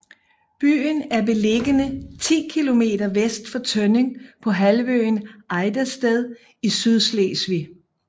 Byen er beliggende ti kilometer vest for Tønning på halvøen Ejdersted i Sydslesvig